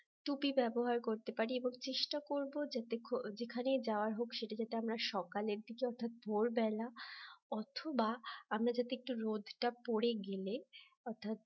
টুপি ব্যবহার করতে পারি এবং চেষ্টা করব যাতে যেখানে যাওয়ার হোক সেটা যাতে আমরা সকালের দিকে অর্থাৎ ভোরবেলা অথবা আমরা যদি একটু রোদ টা পড়ে গেলে অর্থাৎ